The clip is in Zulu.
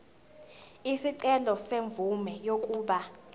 isicelo semvume yokuba